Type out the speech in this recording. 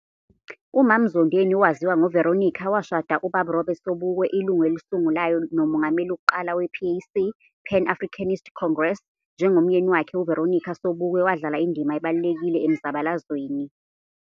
Umam Zondeni owaziwa ngo Veronica washada uBab Robert Sobukwe ilungu elisungulayo nomongameli wok'qala wePAC, Pan Africanist Congress, njengomyeni wakhe uVeronica Sobukwe wadlala indima ebalulekile emzabalazweni.